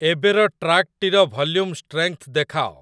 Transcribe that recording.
ଏବେର ଟ୍ରାକ୍‌ଟି ର ଭଲ୍ୟୁମ୍ ଷ୍ଟ୍ରେଙ୍ଗ୍‌ଥ୍‌ ଦେଖାଅ